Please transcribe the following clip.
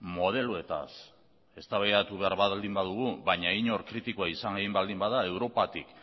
modeloetaz eztabaidatu behar baldin badugu baina inor kritikoa izan nahi baldin bada europatik